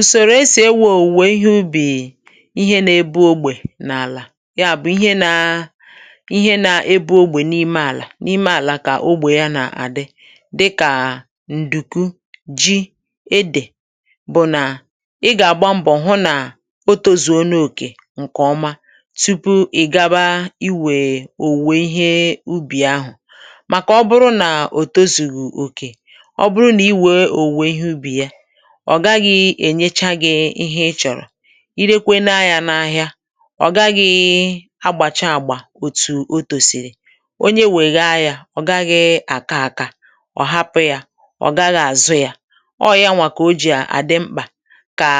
ùsòrò esì ewė òwùwè ihe ubì ihe na-ebu ogbè n’àlà ya bụ̀ ihe na ihe na-ebu ogbè n’ime àlà n’ime àlà kà ogbè ya nà-àdị dịkà ǹdùkwu ji edè bụ̀ nà ị gà-àgba mbọ̀ hụ nà o tozù onyè òkè ǹkè ọma tupu ị̀ gaba iwè òwùwè ihe ubì ahụ̀ màkà ọ bụrụ nà òtuzù òkè ọ̀ gaghị̇ ènyecha gị̇ ihe ị chọ̀rọ̀ i rekwe na yȧ n’ahịa ọ gaghị̇ agbàchà àgbà òtù otòsìrì onye wèe gaa yȧ ọ gaghị̇ àka àka ọ̀ hapụ̇ yȧ ọ gaghị̇ àzụ yȧ ọọ̀ yanwà kà o jì àdị mkpà kà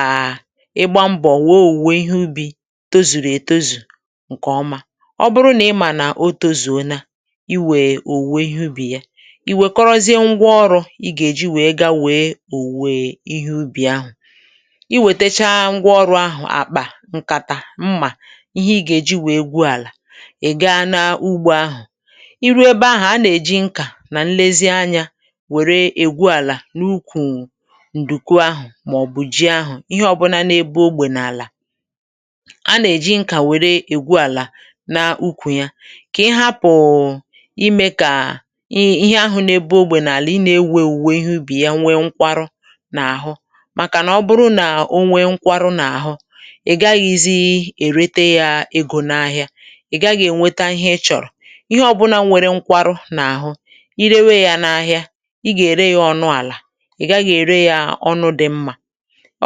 ịgba mbọ̀ wèe òwùwè ihe ubì tozùrù ètozù ǹkè ọma ọ bụrụ nà ị mà nà otȯzù ọnà i wèe òwùwò ihe ubì ya i wèkoroziė ngwọ ọrụ̇ iwètecha ngwa ọrụ̇ ahụ̀ àkpà ǹkàtà mmà ihe i gà-èji wèe gwuo àlà ị̀ gaa n’ugbȯ ahụ̀ i ruo ebe ahà a nà-èji nkà nà nlezi anyȧ wère ègwu àlà n’ukwù ǹdùkwu ahụ̀ màọ̀bù ji ahụ̀ ihe ọ̀bụnȧ n’ebe ogbè n’àlà a nà-èji nkà wère ègwu àlà n’ukwù ya kà ị hapùụ imė kà ihe ahụ̀ n’ebe ogbè n’àlà ị nà-ewu̇ ewu̇wè ihe ubì ya nwee nkwarụ màkà nà ọ bụrụ nà o nwėrė nkwarụ n’àhụ ì gaghɪzí ì rete yȧ egȯ n’ahịa ì gaghɪ̇ ènweta ihe ị chọ̀rọ̀ ihe ọbụna nwèrè nkwarụ n’àhụ i rewe yȧ n’ahịa ị gà-ère yȧ ọnụ àlà ì gaghɪ̇ ère yȧ ọnụ dị̇ mmȧ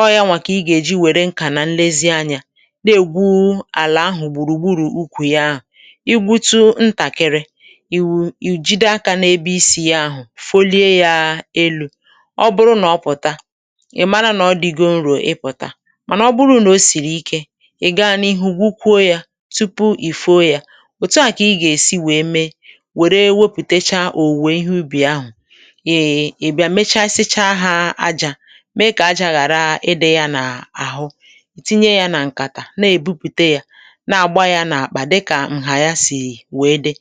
ọọ̇ ya nwà kà ị gà-èji wère nkà nà nlezianyȧ na-ègwu alà ahụ̀ gbùrùgburù ukwù ya ị gbutu ntàkịrị ì wùjide akȧ na-ebe isi̇ ya ahụ̀ folie yȧ elu̇ ì mara nà ọ dịgo nro ịpụ̀ta mànà ọ bụrụ nà o sìrì ike ị̀ gaghị n’ihu gwukwo ya tupu ì fuo ya òtu a kà ị gà-èsi wèe mee wère wepùtècha ò wèe ihe ubì ahụ̀ e mechasịcha ha ajȧ mee kà aja ghàra ịdị̇ ya n’àhụ tinye ya nà ǹkàtà na èbupùte ya na àgba ya n’àkpà dịkà ǹhà ya sì wee dị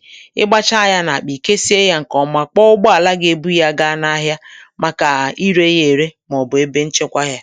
ịgbacha ya n’àkpà ì kesie ya ǹkè ọma kpọọgbọ àlà gà-ebu ya gaa n’ahịa ǹ